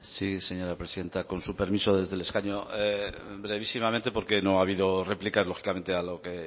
sí señora presidenta con su permiso desde el escaño brevísimamente porque no ha habido réplica lógicamente a lo que